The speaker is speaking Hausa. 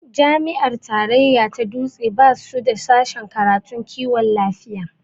Jami'a tarayya ta dutse basu da sashen karatun kiwon lafiya